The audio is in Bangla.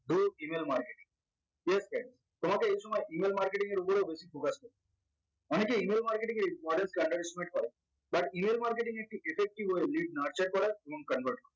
email marketing তোমাকে এই সময় email marketing এর উপরেও বেশি focus করতে হবে অনেকেই email marketing এর order underestimate করা but email marketing একটি ssc weblist নড়চড় করা এবং convert করা